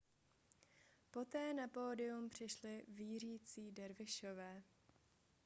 poté na pódium přišli vířící dervišové